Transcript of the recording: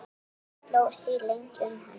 Slógust þrír lengi um hann.